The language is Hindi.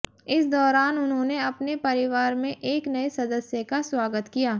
इस दौरान उन्होंने अपने परिवार में एक नए सदस्य का स्वागत किया